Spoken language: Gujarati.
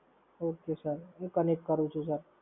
હૂં Connect કરું છું Sir.